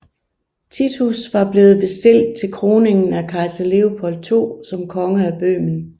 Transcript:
Titus var blevet bestilt til kroningen af kejser Leopold II som konge af Bøhmen